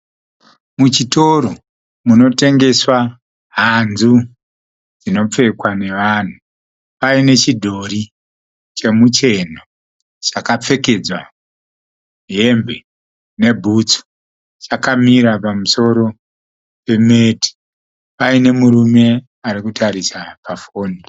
Muchitoro, munotengeswa hanzu dzino pfekwa nevanhu. Paine nechidhori chomucheno chaka pfekedzwa hembe ne bhutsu , chakamira pamusoro pemati . Paine murume ari kutarisa pa foni .